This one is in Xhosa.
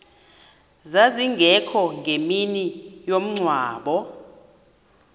zazingekho ngemini yomngcwabo